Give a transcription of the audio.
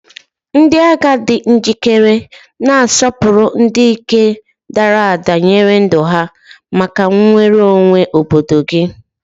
Ndị agha di njikere, na-asọpụrụ ndị dike dara ada nyere ndụ ha maka nnwere onwe obodo gị.